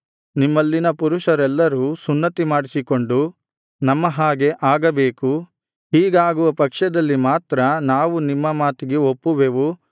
ನಿಮ್ಮಲ್ಲಿನ ಪುರುಷರೆಲ್ಲರೂ ಸುನ್ನತಿಮಾಡಿಸಿಕೊಂಡು ನಮ್ಮ ಹಾಗೆ ಆಗಬೇಕು ಹೀಗಾಗುವ ಪಕ್ಷದಲ್ಲಿ ಮಾತ್ರ ನಾವು ನಿಮ್ಮ ಮಾತಿಗೆ ಒಪ್ಪುವೆವು